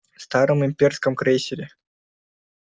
старом имперском крейсере